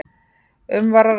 Um var að ræða